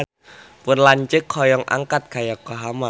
Pun lanceuk hoyong angkat ka Yokohama